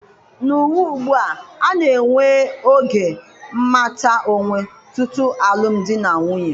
N'ụwa ugbua, a na-enwe oge mmata onwe tutu alụm di na nwunye.